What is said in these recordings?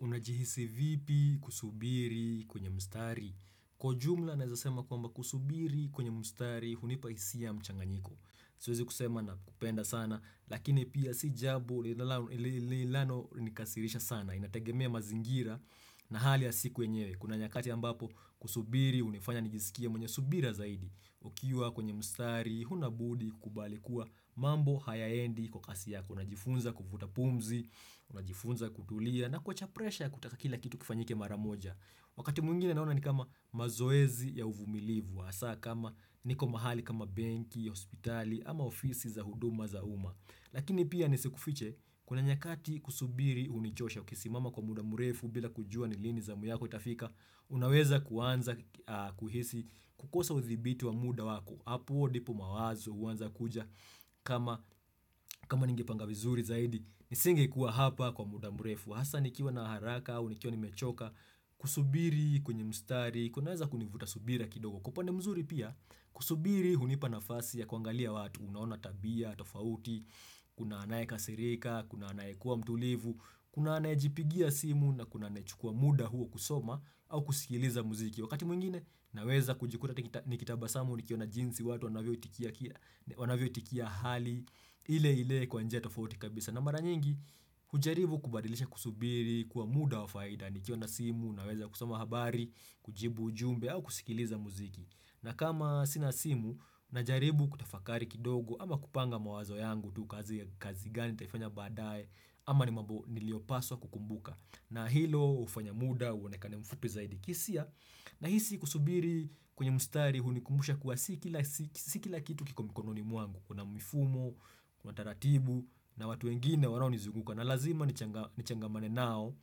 Unajihisi vipi kusubiri kwenye mstari Kwa jumla naezasema kwamba kusubiri kwenye mstari hunipa hisia mchanganyiko Siwezi kusema na kupenda sana Lakini pia si jabo li lilano nikasirisha sana Inategemea mazingira na hali ya siku yenyewe Kuna nyakati ambapo kusubiri unifanya nijisikie mwenye subira zaidi Ukiwa kwenye mstari Hunabudi kubalikuwa mambo hayaendi kwa kasi yako Unajifunza kuvuta pumzi Unajifunza kutulia na kuwacha presha ya kutaka kila kitu kifanyike maramoja Wakati mwingine naona ni kama mazoezi ya uvumilivu Asa kama niko mahali kama benki, hospitali, ama ofisi za huduma za uma Lakini pia nisikufiche kuna nyakati kusubiri unichosha Ukisimama kwa mudamurefu bila kujua nilini za muyako itafika Unaweza kuanza kuhisi kukosa uthibiti wa muda wako hapo ndipo mawazo huanza kuja kama kama ningepanga vizuri zaidi Nisingekuwa hapa kwa mudamurefu Hasa nikiwa na haraka, au nikiwa ni mechoka, kusubiri, kwenye mstari, kunaweza kunivuta subira kidogo. Kwa upande mzuri pia, kusubiri, hunipa nafasi ya kuangalia watu, unaona tabia, tofauti, kuna anaye kasirika, kuna anaye kuwa mtulivu, kuna anaye jipigia simu, na kuna anayechukua muda huo kusoma, au kusikiliza muziki. Wakati mwingine, naweza kujikuta nikita nikitaba samu, nikiona jinsi watu, wanavyoitikia ki wanavyo itikia hali, ile ile kwa njia tofauti kabisa. Na mara nyingi, hujaribu kubadilisha kusubiri, kuwa muda wa faida, nikiwa na simu, naweza kusoma habari, kujibu ujumbe, au kusikiliza muziki. Na kama sinasimu, najaribu kutafakari kidogo, ama kupanga mawazo yangu tu kazi kazi gani ntaifanya badaye, ama ni mambo niliopaswa kukumbuka. Na hilo, hufanya muda, uonekane mfupi zaidi kisia. Na hisi kusubiri kwenye mstari hunikumbusha kuwa si kila si sikila kitu kiko mikononi mwangu. Kuna mifumo, Kuna taratibu na watu wengine wanao nizunguka. Na lazima nichanga nichangamane nao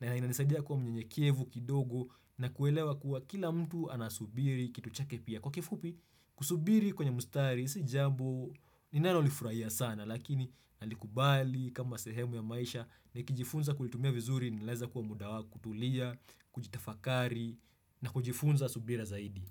na inanisaidia kuwa mnyenyekevu kidogo na kuelewa kuwa kila mtu anasubiri kitu chake pia. Kwa kifupi, kusubiri kwenye mstari, sijambo ninalolifurahia sana, lakini nalikubali kama sehemu ya maisha nikijifunza kulitumia vizuri ni leza kuwa mudawa kutulia, kujitafakari na kujifunza subira zaidi.